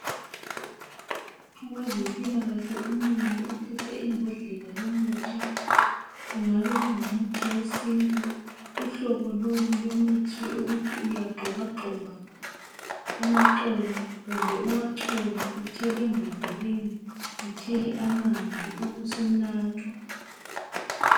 Owezempilakahle umile uphethe imbodlela yomuthi kungabe kungumuthi wesintu .Uhlobo lolu lwemithi ukuthi uyagxobagxoba amaxolo kumbe uwachole uthele mbodleleni uthele amanzi ubusunathwa.